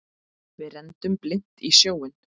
Við renndum blint í sjóinn.